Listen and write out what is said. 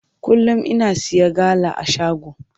Kullum ina siya gala a shago.